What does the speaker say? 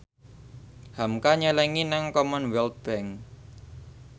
hamka nyelengi nang Commonwealth Bank